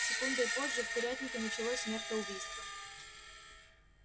секундой позже в курятнике началось смертоубийство